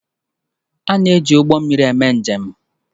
A na eji Ụgbọ mmiri eme njem.